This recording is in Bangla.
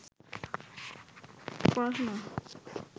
পড়াশুনা